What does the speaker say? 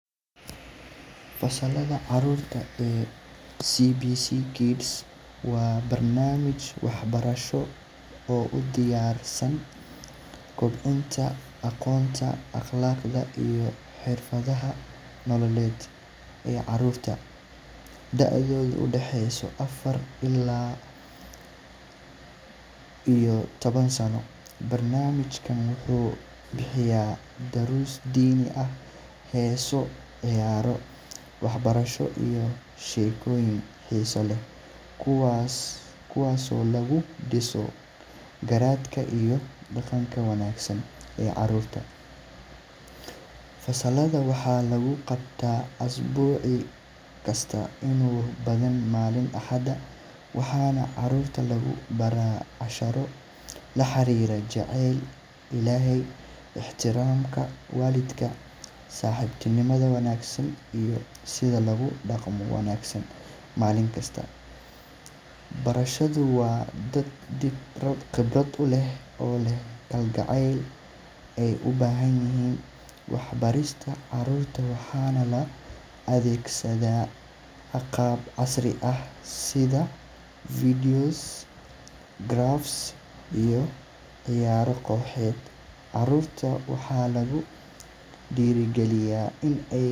Fasalada caruurta waa barnamij wax barasho oo kobcinta aqoonta iyo xirfadaha nololeed, daodooda udaxeysa afar ilaa taban, kuwaas oo lagu diso garaadka iyo daqanka wanagsan, waxaa lagu qabtaa malinta axada, ixtiraamka walidka iyo daqanka wanagsan waa dad qibrad uleh, waxaa loo adeegsada qaaba casri ah, waxaa lagu diiri galiya in aay.